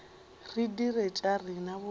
re dire tša rena bobedi